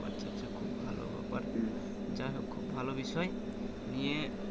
ও আচ্ছা আচ্ছা খুব ভালো ব্যাপার যাই হোক খুব ভালো বিষয় নিয়ে